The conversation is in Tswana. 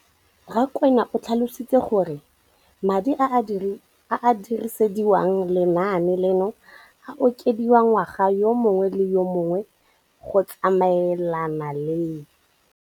Rakwena o tlhalositse gore madi a a dirisediwang lenaane leno a okediwa ngwaga yo mongwe le yo mongwe go tsamaelana le